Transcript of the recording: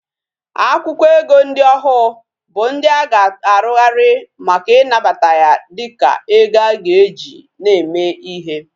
Akwukwo ego ndi ohu bu ndi aga arughari Maka inabata ya dika ego aga eji na eme ihe